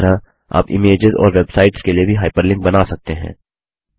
उसी तरह आप इमेजेस और वेबसाइट्स के लिए भी हाइपरलिंक बना सकते हैं